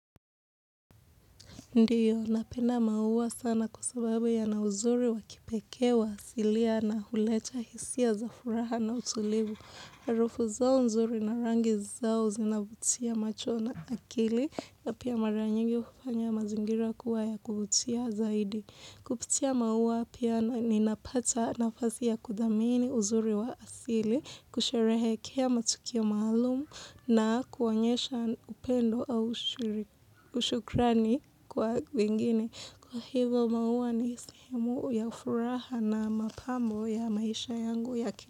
Ndiyo, napenda maua sana kwa sababu yana uzuri wakipekee wa asilia na huleta hisia za furaha na utulivu. Harufu zao nzuri na rangi zao zinavutia macho na akili na pia mara nyingi hufanya mazingira kuwa ya kuvutia zaidi. Kupitia maua pia na ninapata nafasi ya kudhamini uzuri wa asili, kusherehekea matukio maalumu na kuonyesha upendo au ushukrani kwa wengine. Kwa hivo maua ni sehemu ya furaha na mapambo ya maisha yangu ya kila.